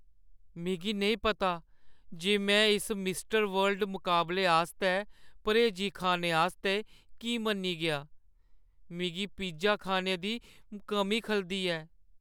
मिगी नेईं पता जे में इस मिस वर्ल्ड मकाबले आस्तै पर्‌हेजी खाने आस्तै की मन्नी गेआ। मिगी पिज्जा खाने दी कमी खलदी ऐ।